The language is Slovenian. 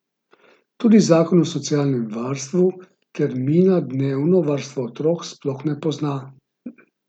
Tudi zakon o socialnem varstvu termina dnevno varstvo otrok sploh ne pozna.